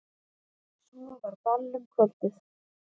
Svo var ball um kvöldið.